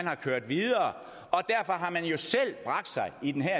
har kørt videre og derfor har man jo selv bragt sig i den her